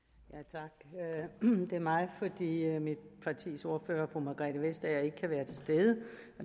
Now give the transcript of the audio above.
tak det er mig fordi mit partis ordfører fru margrethe vestager ikke kan være til stede